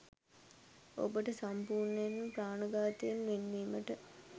ඔබට සම්පූර්ණයෙන්ම ප්‍රාණඝාතයෙන් වෙන්වීමට